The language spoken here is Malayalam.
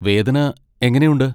വേദന എങ്ങനെയുണ്ട്?